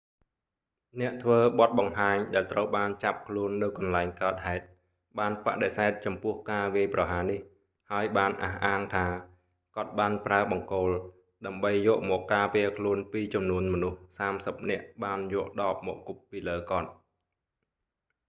អ្នកធ្វើបទបង្ហាញដែលត្រូវបានចាប់ខ្លួននៅកន្លែងកើតហេតុ បានបដិសេធចំពោះការវាយប្រហារនេះ ហើយបានអះអាងថា គាត់បានប្រើបង្គោល ដើម្បីយកមកការពារខ្លួនពីចំនួនមនុស្សសាមសិបនាក់បានយកដបមកគប់ពីលើគាត់